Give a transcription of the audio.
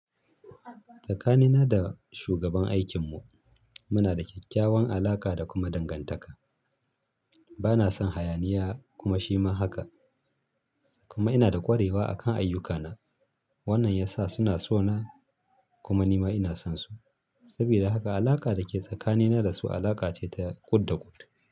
Tsakanina da shugaban aikinmu muna da kyakkyawan alaƙa da kuma dangantaka. Bana son hayaniya kuma shi ma haka. Kuma ina da ƙwarewa a kan ayyukana. Wannan ya sa suna so na kuma nima ina son su. Saboda haka alaƙa da ke tsakanina da su alaƙa ce ta kud-da-kud.